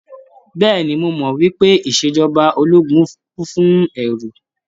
Bẹ́ẹ̀ni, mo mọ̀ wípé ìṣèjọba ológun kún fún ẹ́ru.